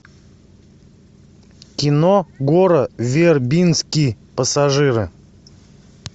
кино гора вербински пассажиры